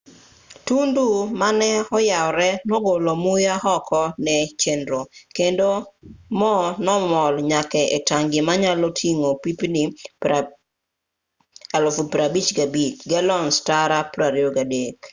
tundu maneyawree nogolo muya oko ne chenro kendo mo nomol nyaka e tangi manyalo ting'o pipni 55,000. galons tara 23